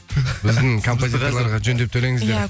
біздің композитерлерге жөндеп төлеңіздер